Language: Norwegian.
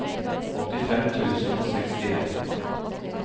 åttifem tusen og sekstien